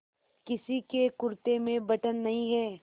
किसी के कुरते में बटन नहीं है